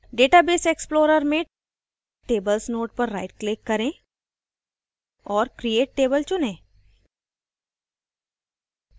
database explorer में tables node पर right click करें औरcreate table चुनें